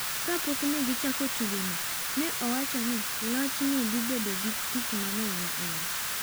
Kapok ne gichako tugono, ne owacho ni loch ne dhi bedo gi tich mang’eny ne en.